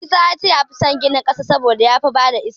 Isa ya ce ya fi san ginin ƙasa saboda ya fi ba da iska.